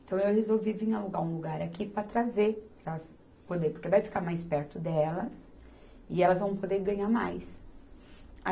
Então eu resolvi vir alugar um lugar aqui para trazer, para elas poderem, porque vai ficar mais perto delas, e elas vão poder ganhar mais.